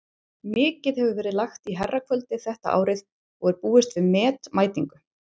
Mikið hefur verið lagt í herrakvöldið þetta árið og er búist við met mætingu.